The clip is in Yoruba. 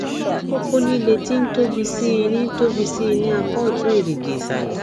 koko lile ti n tobi sii ni tobi sii ni apa otun erigi isale